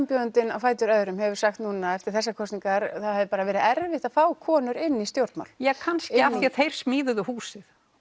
karlframbjóðandinn á fætur öðrum hefur sagt núna eftir þessar kosningar það hafi verið erfitt að fá konur inn í stjórnmál ja kannski því að þeir smíðuðu húsið